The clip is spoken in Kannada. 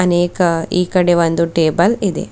ಅನೇಕ ಈ ಕಡೆ ಒಂದು ಟೇಬಲ್ ಇದೆ.